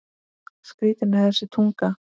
Skrítin er þessi tunga.